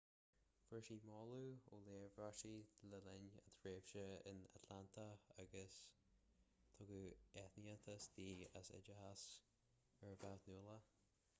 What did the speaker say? fuair ​​sí moladh ó léirmheastóirí le linn a tréimhse in atlanta agus tugadh aitheantas di as oideachas uirbeach nuálach